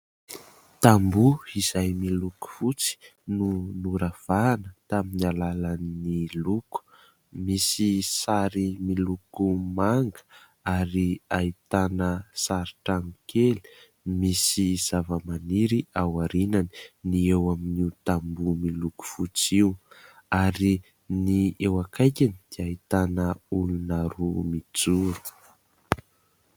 Tamboho izay miloko fotsy no noravahana tamin'ny alalan'ny loko. Misy sary miloko manga ary ahitana sary trano kely misy zavamaniry ao aorianany, ny eo amin'io tamboho miloko fotsy io. Ary ny eo akaikiny dia ahitana olona roa mijoro.